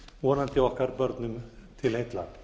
vonandi okkar börnum til heilla